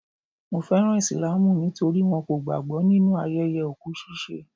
Mo fẹ́ràn Islamu nítorí wọn kò gbàgbọ́ nínu ayẹyẹ òkú ṣiṣẹ́.